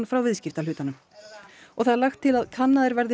frá viðskiptahlutanum og það er lagt til að kannaðir verði